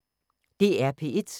DR P1